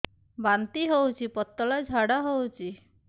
ବାନ୍ତି ହଉଚି ପତଳା ଝାଡା ହଉଚି